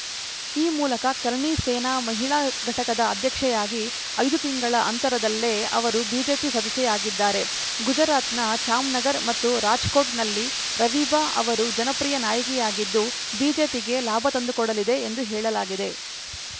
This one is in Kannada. ಈ ಮೂಲಕ ಕರ್ಣಿ ಸೇನಾ ಮಹಿಳಾ ಘಟಕದ ಅಧ್ಯಕ್ಷೆಯಾಗಿ ಐದು ತಿಂಗಳ ಅಂತರದಲ್ಲೇ ಅವರು ಬಿಜೆಪಿ ಸದಸ್ಯೆಯಾಗಿದ್ದಾರೆ ಗುಜರಾತ್‌ನ ಜಾಮ್‌ನಗರ್ ಮತ್ತು ರಾಜ್‌ಕೋಟ್‌ನಲ್ಲಿ ರವೀಬಾ ಅವರು ಜನಪ್ರಿಯ ನಾಯಕಿಯಾಗಿದ್ದು ಬಿಜೆಪಿಗೆ ಲಾಭ ತಂದುಕೊಡಲಿದೆ ಎಂದು ಹೇಳಲಾಗಿದೆ